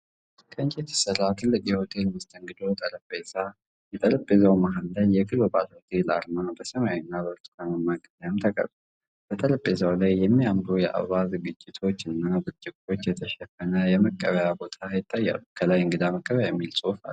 ከእንጨት የተሰራ ትልቅ የሆቴል መስተንግዶ ጠረጴዛ፣ የጠረጴዛው መሀል ላይ የግሎባል ሆቴል አርማ በሰማያዊና ብርቱካናማ ቀለም ተቀርጿል። በጠረጴዛው ላይ የሚያማምሩ የአበባ ዝግጅቶች እና በብርጭቆ የተሸፈነ የመቀበያ ቦታ ይታያሉ። ከላይ “እንግዳ መቀበያ” የሚል ጽሑፍ አለ።